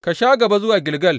Ka sha gabana zuwa Gilgal.